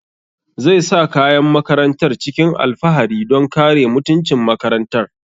Zai sa kayan makarantar cikin alfahari don kare mutuncin makarantar